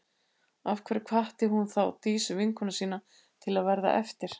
Af hverju hvatti hún þá Dísu, vinkonu sína, til að verða eftir?